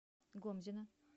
гомзина